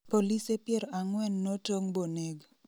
polise pier ang'wen notong' boneg